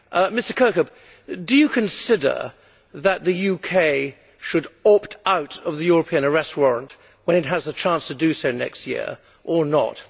Mr Kirkhope, do you consider that the UK should opt out of the European Arrest Warrant when it has a chance to do so next year, or not?